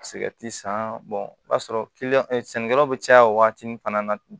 san o b'a sɔrɔ sɛnɛkɛlaw bɛ caya waati min fana na